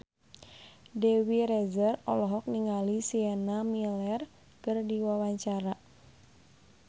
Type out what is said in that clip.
Dewi Rezer olohok ningali Sienna Miller keur diwawancara